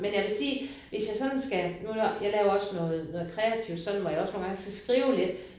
Men jeg vil sige hvis jeg sådan skal nu jeg jeg laver også noget noget kreativt sådan hvor jeg også nogle gange skal skrive lidt